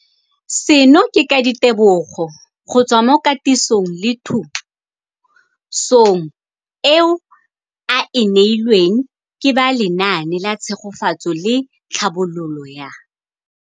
Seno ke ka ditebogo go tswa mo katisong le thu song eo a e neilweng ke ba Lenaane la Tshegetso le Tlhabololo ya